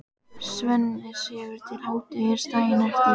Svenni sefur til hádegis daginn eftir.